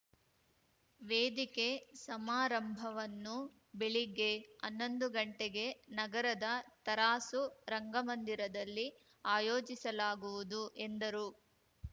ವೇದಿಕೆ ಸಮಾರಂಭವನ್ನು ಬೆಳಿಗ್ಗೆ ಹನ್ನೊಂದು ಗಂಟೆಗೆ ನಗರದ ತರಾಸು ರಂಗಮಂದಿರದಲ್ಲಿ ಆಯೋಜಿಸಲಾಗುವುದು ಎಂದರು